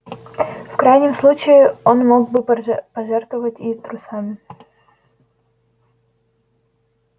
в крайнем случае он мог бы пожертвовать и трусами